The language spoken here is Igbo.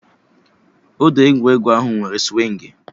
Odo egwuregwu ahụ nwere swịngị